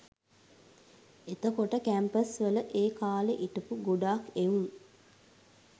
එතකොට කැම්පස් වල ඒ කාලෙ හිටපු ගොඩක් එවුන්